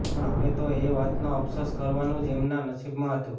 પણ હવે તો એ વાતનો અફસોસ કરવાનું જ એમના નસીબમાં હતું